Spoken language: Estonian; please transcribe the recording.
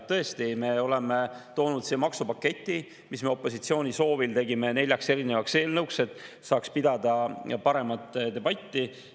Tõesti, me oleme toonud siia maksupaketi, mille me opositsiooni soovil tegime neljaks erinevaks eelnõuks, et saaks pidada paremat debatti.